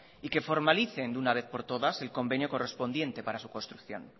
y que formalicen de una vez por todas el convenio correspondiente para su construcción